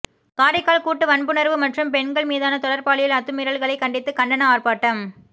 காரைக்கால் கூட்டுவன்புணர்வு மற்றும் பெண்கள் மீதான தொடர் பாலியல் அத்துமீறல்களை கண்டித்து கண்டன ஆர்பாட்டம்